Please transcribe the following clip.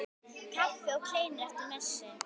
Kaffi og kleinur eftir messu.